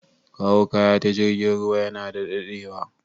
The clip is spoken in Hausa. Kawo kaya ta jirgin ruwa yana dadewa